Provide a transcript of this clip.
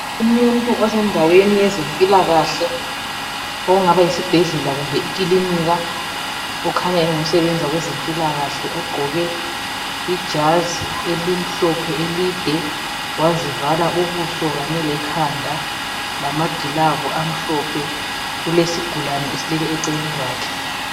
Umuntu osendaweni yezempilakahle, okungaba yisibhedlela kumbe ikilinika, okhanya ungosebenza kwezempilakahle ogqoke ijazi elimhlophe elide, wazivala ubuso kanye lekhanda, lamagilavu amhlophe. Kulesigulani esilele eceleni kwakhe.